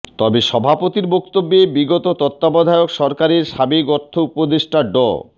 তবে সভাপতির বক্তব্যে বিগত তত্ত্বাবধায়ক সরকারের সাবেক অর্থ উপদেষ্টা ড